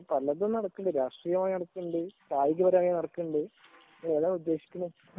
പലതും നടക്കുന്നുണ്ട് രാഷ്ട്രീയമായി നടക്കുന്നുണ്ട് കായികപരമായി നടക്കുന്നുണ്ട് ഏതാ നിങ്ങൾ ഉദ്ദേശിക്കുന്നത്